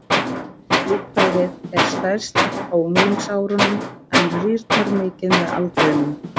Líffærið er stærst á unglingsárunum en rýrnar mikið með aldrinum.